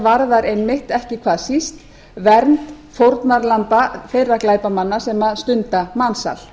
varðar einmitt ekki hvað síst vernd fórnarlamba þeirra glæpamanna sem stunda mansal